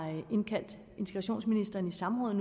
indkaldt integrationsministeren i samråd